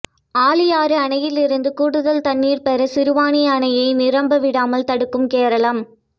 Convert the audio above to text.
ஆழியாறு அணையில் இருந்து கூடுதல் தண்ணீா் பெற சிறுவாணி அணையை நிரம்ப விடாமல் தடுக்கும் கேரளம்